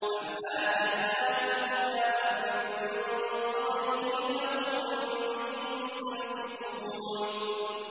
أَمْ آتَيْنَاهُمْ كِتَابًا مِّن قَبْلِهِ فَهُم بِهِ مُسْتَمْسِكُونَ